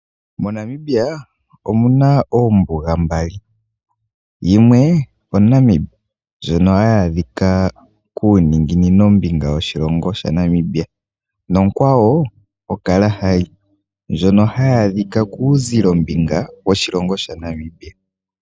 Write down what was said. MoNamibia omu na oombuga mbali. Yimwe oNamib ndjono hayi adhika kuuninginino mbinga woshilongo sha Namibia, nokwawo oKalahari ndjono hayi adhika kuuzilo mbinga woshilongo sha Namibia.